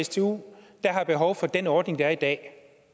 stu der har behov for den ordning der er i dag